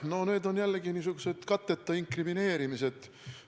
No need on jällegi niisugused katteta inkrimineerimised.